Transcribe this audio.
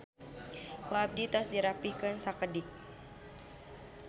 Ku abdi tos dirapihkeun sakedik.